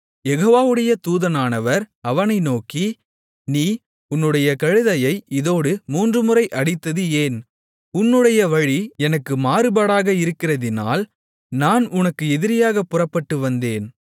யெகோவாவுடைய தூதனானவர் அவனை நோக்கி நீ உன்னுடைய கழுதையை இதோடு மூன்றுமுறை அடித்தது ஏன் உன்னுடைய வழி எனக்கு மாறுபாடாக இருக்கிறதினால் நான் உனக்கு எதிரியாகப் புறப்பட்டு வந்தேன்